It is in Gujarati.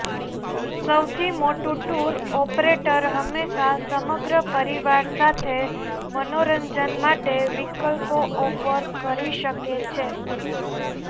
સૌથી મોટું ટુર ઑપરેટર હંમેશા સમગ્ર પરિવાર સાથે મનોરંજન માટે વિકલ્પો ઑફર કરી શકે છે